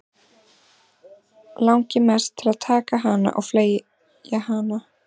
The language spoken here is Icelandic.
Langi mest til að taka hana og flengja hana.